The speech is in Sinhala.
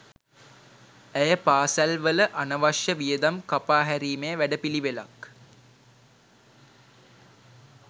ඇය පාසැල් වල අනවශ්‍ය වියදම් කපා හැරීමේ වැඩපිළිවෙලක්